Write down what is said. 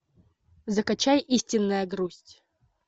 закачай истинная грусть